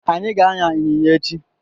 Anyị ga-an̄ya ịnyịnya echi.